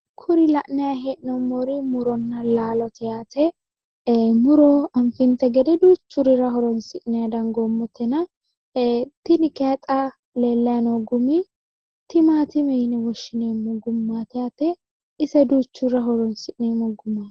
Kuri la'nayi hee'mori muronna laalote yaate. Muro anfinte gede duuchurira horonsi'nayi dangoommotena tini kayi xa lellayi noo gumi timaatime yine woshshinayi gumaati yaate ise duuchurira horosi'neemmo gumaati.